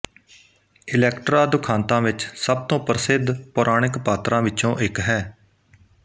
Electra ਦੁਖਾਂਤਾਂ ਵਿੱਚ ਸਭ ਤੋਂ ਪ੍ਰਸਿੱਧ ਪੌਰਾਣਿਕ ਪਾਤਰਾਂ ਵਿੱਚੋਂ ਇੱਕ ਹੈ